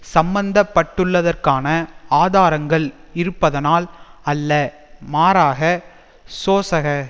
சம்பந்தப்பட்டுள்ளதற்கான ஆதாரங்கள் இருப்பதனால் அல்ல மாறாக சோசக